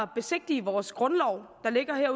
besigtige vores grundlov der ligger her